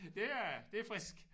Det er det er frisk